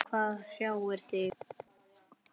Hvað hrjáir þig?